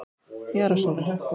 Jara Sól